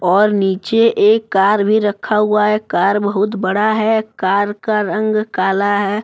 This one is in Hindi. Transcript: और नीचे एक कार भी रखा हुआ है कार बहुत बड़ा है कार का रंग काला है।